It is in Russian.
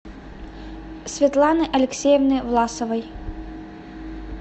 светланы алексеевны власовой